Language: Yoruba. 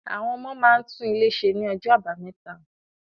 Àwọn ọmọ máa tún ilé ṣe ní ọjọ́ Àbámẹta.